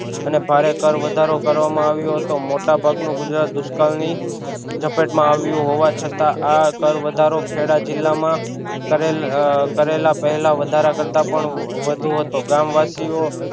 અને ભારે કર વધારો કરવામાં આવ્યો હતો મોટા ભાગ નું ગુજરાત દુષ્કાળ ની જપેટ માં આવ્યું હોવા છતાં આ કર વધારો ખેડા જિલ્લા માં કરેલ કરેલા પેહલા વધારા કરતાં પણ વધુ હતો ગામવાસીઓ